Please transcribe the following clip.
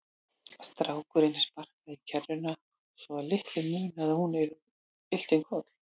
Strákurinn sparkaði í kerruna svo að litlu munaði að hún ylti um koll.